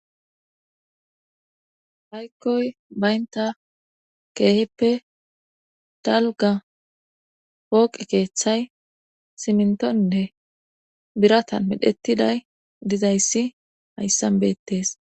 Haykkoy baynta keehippe dalga pooqi keeththay simintonne biratan medhettiday dizayssi hayssan beettes.